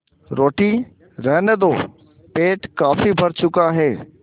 रोटी रहने दो पेट काफी भर चुका है